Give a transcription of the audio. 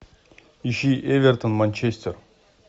ищи эвертон манчестер